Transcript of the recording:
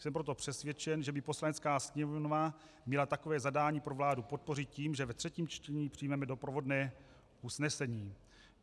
Jsem proto přesvědčen, že by Poslanecká sněmovna měla takové zadání pro vládu podpořit tím, že ve třetím čtení přijmeme doprovodné usnesení.